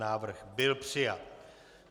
Návrh byl přijat.